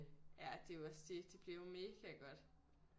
Ja det er jo også det det bliver jo mega godt